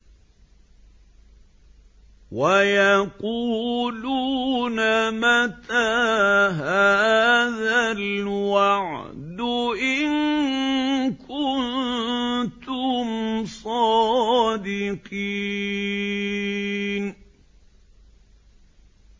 وَيَقُولُونَ مَتَىٰ هَٰذَا الْوَعْدُ إِن كُنتُمْ صَادِقِينَ